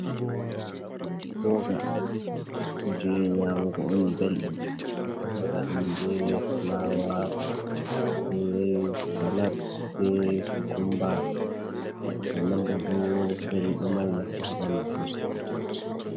Boga kuje nyamugo on belɗum, ɓe ɗo waɗa ɗum be flawa, be salat, be kukumba pat sanan bo ɗo veli, ɗo mari nafu ha ɓandu sosai.